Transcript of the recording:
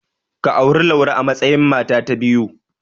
Ka auri Laure a matsayin mata ta biyu.